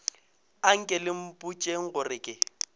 anke le mpotšeng gore ke